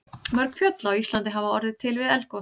Mörg fjöll á Íslandi hafa orðið til við eldgos.